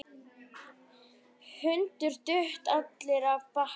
Hrund: Duttu allir af baki?